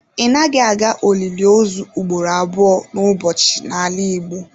Ị naghị aga olili ozu ugboro abụọ n'ụbọchị n'ala Igbo.